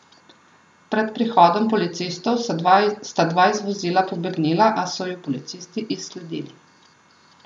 Pred prihodom policistov sta dva iz vozila pobegnila, a so ju policisti izsledili.